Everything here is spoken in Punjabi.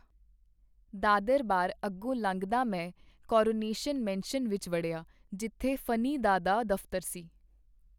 ਦਾਦਰ-ਬਾਰ ਅੱਗੋਂ ਲੰਘਦਾ ਮੈਂ ਕਾਰੋਨੇਸ਼ਨ ਮੈਨਸ਼ਨ ਵਿਚ ਵੜਿਆ, ਜਿਥੇ ਫਨੀ-ਦਾ ਦਾ ਦਫਤਰ ਸੀ.